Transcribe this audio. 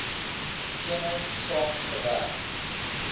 eenheid saam gewerk